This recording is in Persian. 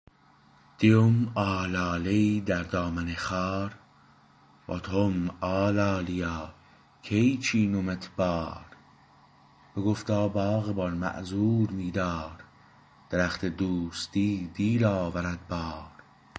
دیم آلاله ای در دامن خار واتم آلالیا کی چینمت بار بگفتا باغبان معذور می دار درخت دوستی دیر آورد بار